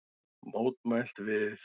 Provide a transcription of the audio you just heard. Mótmælt við